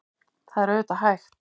Það er auðvitað hægt.